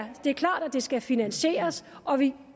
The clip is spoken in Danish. det skal finansieres og vi